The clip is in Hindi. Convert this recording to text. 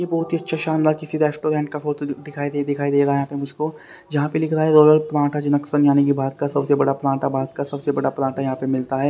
ये बहोत ही अच्छा शानदार किसी रेस्टोरेंट का फोटो दि दिखा दिखाई दे रहा है यहां पे मुझ को जहां पे लिखा है यानी की भारत का सब से बड़ा पराठा भारत का सब से बड़ा पराठा यहां पे मिलता है।